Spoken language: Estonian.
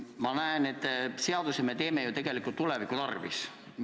Ma näen, et seadusi me teeme ju tegelikult tuleviku tarvis.